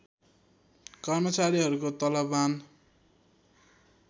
कर्मचारीहरूको तलवमान